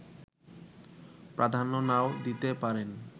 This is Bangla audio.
প্রাধান্য নাও দিতে পারেন